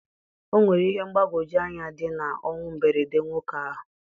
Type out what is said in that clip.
O nwere ihe mgbagwoju anya dị na ọnwụ mberede nwoke ahụ